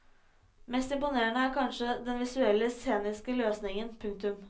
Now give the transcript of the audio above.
Mest imponerende er kanskje den visuelle sceniske løsningen. punktum